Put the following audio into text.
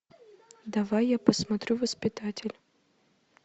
давай я посмотрю воспитатель